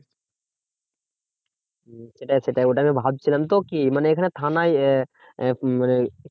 হম সেটাই সেটাই ওটা আমি ভাবছিলাম। তো কি মানে এখানে থানায় আহ আহ মানে